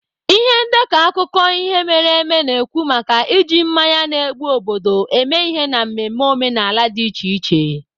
Ihe ndekọ akụkọ ihe mere eme na-ekwu maka iji mmanya na-egbu obodo eme ihe n'ememe omenala dị iche iche.